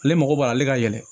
Ale mago b'ale ka yɛlɛ